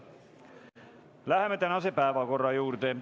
Läheme tänase päevakorra juurde.